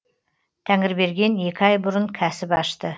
тәңірберген екі ай бұрын кәсіп ашты